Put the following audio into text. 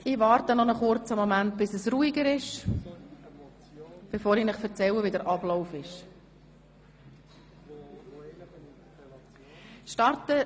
Ich warte noch einen kurzen Moment, bis es ruhiger ist, bevor ich Ihnen den Ablauf erkläre.